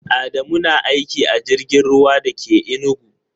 Adamu na aiki a jirgin ruwa da ke Enugu.